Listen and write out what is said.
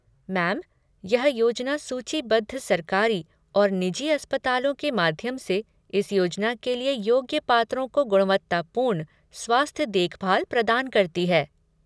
Ma'am, यह योजना सूचीबद्ध सरकारी और निजी अस्पतालों के माध्यम से इस योजना के लिए योग्य पात्रों को गुणवत्तापूर्ण स्वास्थ्य देखभाल प्रदान करती है।